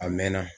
A mɛn na